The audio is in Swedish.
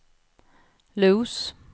Los